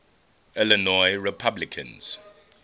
illinois republicans